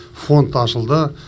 фонд ашылды